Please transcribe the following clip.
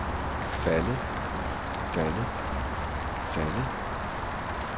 faldet faldet faldet